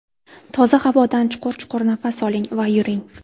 Toza havodan chuqur-chuqur nafas oling va yuring.